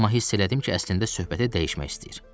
Amma hiss elədim ki, əslində söhbəti dəyişmək istəyir.